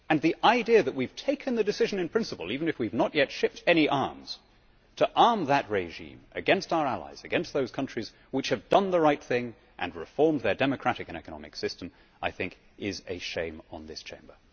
The idea that we have taken the decision in principle, even if we have not yet shipped any arms, to arm that regime against our allies, against those countries which have done the right thing and reformed their democratic and economic system, I think is a shame upon this Chamber.